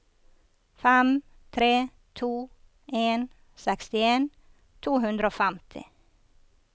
fem tre to en sekstien to hundre og femti